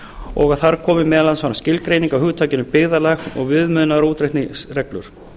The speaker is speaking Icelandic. og að þar komi meðal annars fram skilgreining á hugtakinu byggðarlag og viðmiðunar og útreikningsreglur